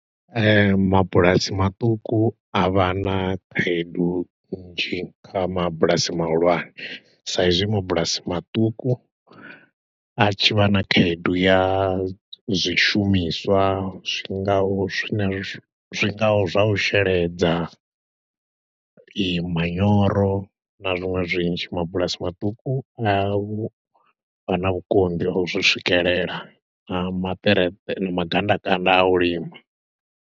Ee, mabulasi maṱuku a vha na khaedu nzhi kha mabulasi mahulwane sa izwi mabulasi maṱuku a tshi vha na khaedu ya zwishumiswa zwingaho zwine, zwingaho zwa u sheledza, i manyoro, na zwiṅwe zwinzhi. Mabulasi maṱuku nga u vha na vhukonḓi ha u zwi swikelela, na maṱereṱe, na magandakanda a u lima.